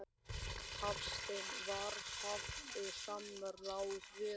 Hafsteinn: Var haft samráð við hann?